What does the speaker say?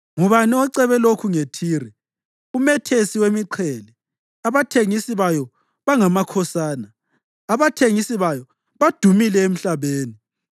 Ngubani ocebe lokhu ngeThire, umethesi wemiqhele, abathengisi bayo bangamakhosana, abathengisi bayo badumile emhlabeni?